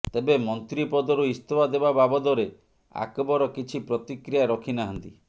ତେବେ ମନ୍ତ୍ରୀପଦରୁ ଇସ୍ତଫା ଦେବା ବାବଦରେ ଆକବର କିଛି ପ୍ରତିକ୍ରିୟା ରଖିନାହାନ୍ତି